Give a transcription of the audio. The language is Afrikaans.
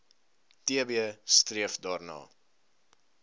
tb streef daarna